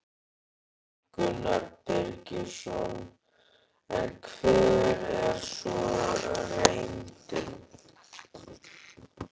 Gunnar Birgisson: En hver er svo reyndin?